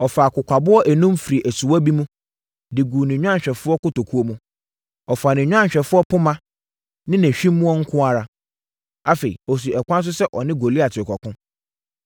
Ɔfaa kokwaboɔ enum firii asuwa bi mu, de guu ne nnwanhwɛfoɔ kotokuo mu. Ɔfaa ne nnwanhwɛfoɔ poma ne nʼahwimmoɔ nko ara. Afei, ɔsii ɛkwan so sɛ ɔne Goliat rekɔko.